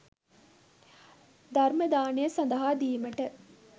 ධර්ම දානය සඳහා දීමට